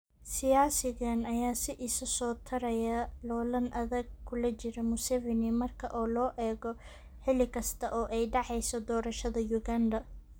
Siyaasigan ayaa si isa soo taraya loolan adag kula jira Museveni marka loo eego xilli kasta oo ay dhacayso doorashada Uganda.